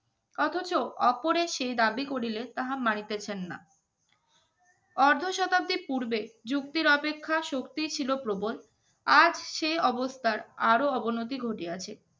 অথচ ওপরের সেই দাবি করিলে তাহার মানিতেছেন না যুক্তির অপেক্ষা শক্তি ছিল প্রবল আর সেই অবস্থার আরো অবনতি ঘটে আছে।